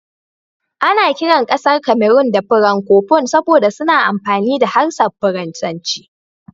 Ana kiran kasar Cameron da suna "Francophone" saboda suna amfani da harshen Faransanci.